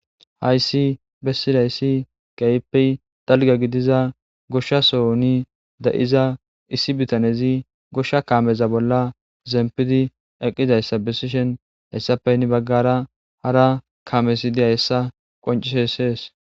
hayssi bessilayssi keypey dalga gidiza goshsha sohni da7iza issi bitanezi goshsha kaameza bolla zempidi eqqizayssa besishen hessapeynni baggara hara kaamesi diya hessa qoncishessees